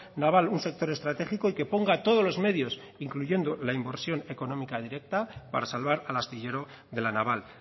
naval un sector estratégico y que ponga todos los medios incluyendo la inversión económica directa para salvar al astillero de la naval